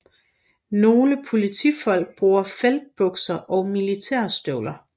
Nogle politifolk bruger feltbukser og militærstøvler